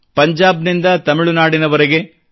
ಪಂಜಾಬ್ನಿಂದ ತಮಿಳುನಾಡಿನವರೆಗೆ